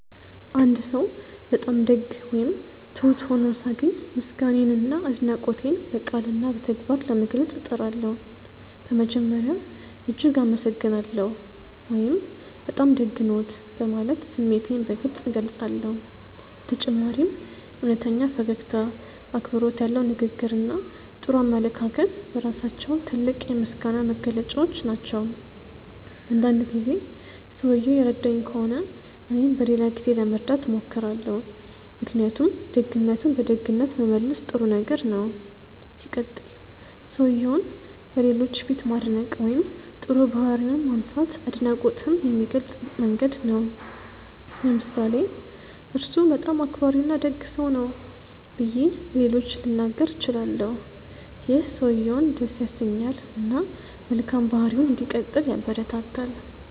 አንድ ሰው በጣም ደግ ወይም ትሁት ሆኖ ሳገኝ ምስጋናዬንና አድናቆቴን በቃልና በተግባር ለመግለጽ እጥራለሁ። በመጀመሪያ "እጅግ አመሰግናለሁ" ወይም “በጣም ደግ ነዎት” በማለት ስሜቴን በግልጽ እገልጻለሁ። በተጨማሪም እውነተኛ ፈገግታ፣ አክብሮት ያለው ንግግር እና ጥሩ አመለካከት በራሳቸው ትልቅ የምስጋና መግለጫዎች ናቸው። አንዳንድ ጊዜ ሰውየው የረዳኝ ከሆነ እኔም በሌላ ጊዜ ለመርዳት እሞክራለሁ። ምክንያቱም ደግነትን በደግነት መመለስ ጥሩ ነገር ነው። ሲቀጥል, ሰውየውን በሌሎች ፊት ማድነቅ ወይም ጥሩ ባህሪውን ማንሳት አድናቆትን የሚገልጽ መንገድ ነው። ለምሳሌ "እርሱ በጣም አክባሪና ደግ ሰው ነው" ብዬ ለሌሎች ልናገር እችላለሁ። ይህ ሰውየውን ደስ ያሰኛል እና መልካም ባህሪውን እንዲቀጥል ያበረታታል።